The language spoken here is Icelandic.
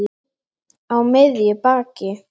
Á miðju baki.